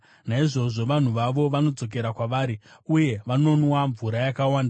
Naizvozvo vanhu vavo vanodzokera kwavari, uye vanonwa mvura yakawanda.